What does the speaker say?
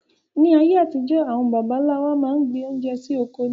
Ayé àtijó àwon bàbá nlá wa máa n gbin oúnje sí ọkọ ní